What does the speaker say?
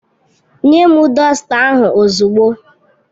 Nye m dọsta ahụ ozugbo!